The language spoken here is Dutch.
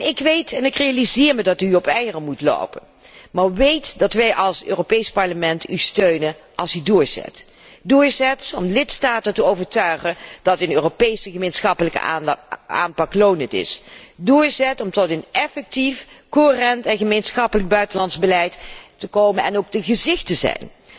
Ik weet, ik realiseer me dat u op eieren moet lopen, maar weet dat wij u als Europees Parlement u steunen als u doorzet om de lidstaten ervan te overtuigen dat een Europese gemeenschappelijke aanpak lonend is, doorzet om tot een effectief, coherent en gemeenschappelijk buitenlands beleid te komen en daarvan het gezicht te zijn,